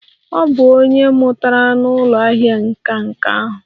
Ọ bụ onye mmụta n'ụlọ ahịa nka nka ahụ